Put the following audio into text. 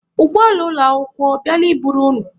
Ụgbọala ụlọakwụkwọ ọ bịala i buru unu?